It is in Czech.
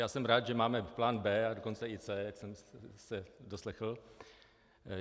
Já jsem rád, že máme plán B a dokonce i C, jak jsem se doslechl.